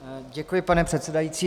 Děkuji, pane předsedající.